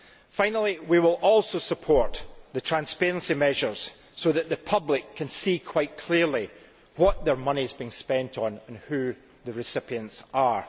Finally, we will also support the transparency measures, so that the public can see quite clearly what their money is being spent on and who the recipients are.